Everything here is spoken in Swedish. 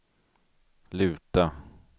luta